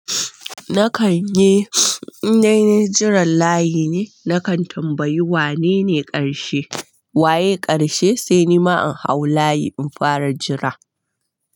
Nakan yi innanai jiran layi ne, nakan tambayi wanene ƙarshe. Waye ƙarshe? Sai ni ma in hau layi in fara jira.